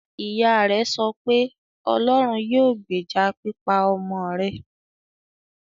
Ìyá rẹ̀ sọ pé; "Ọlọ́run yóò gbèjà pípa ọmọ rẹ̀".